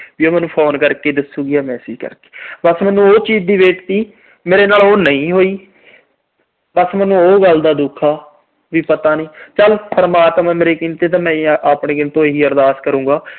ਵੀ ਉਹਨੂੰ phone ਕਰਕੇ ਦਸੂਗੀ ਜਾਂ message ਕਰਕੇ। ਬਸ ਮੈਨੂੰ ਉਹ ਚੀਜ ਦੀ wait ਸੀ, ਮੇਰੇ ਨਾਲ ਉਹ ਨਹੀਂ ਹੋਈ। ਬਸ ਮੈਨੂੰ ਉਹ ਗੱਲ ਦਾ ਦੁੱਖ ਆ ਵੀ ਪਤਾ ਨੀ। ਚਲ ਪਰਮਾਤਮਾ ਅੱਗੇ ਮੇਰੇ ਦਿਲ ਤੋਂ ਇਹੀ ਅਰਦਾਸ ਕਰੂੰਗਾ।